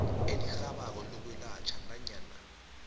elirhabako lokwelatjhwa nanyana